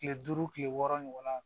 Kile duuru kile wɔɔrɔ ɲɔgɔn na